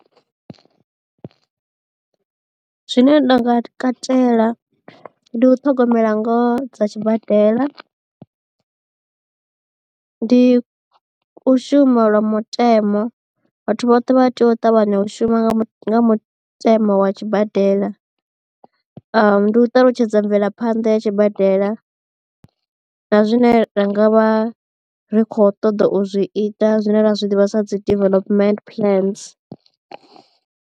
Zwine nda nga katela ndi u ṱhogomela ngoho dza tshibadela ndi u shuma lwa mutemo vhathu vhoṱhe vha tea u ṱavhanya u shuma nga mutemo wa tshibadela ndi u ṱalutshedza mvelaphanḓa ya tshibadela na zwine rangavha ri khou ṱoḓa u zwi ita zwine ra zwi ḓivha sa dzi development plans.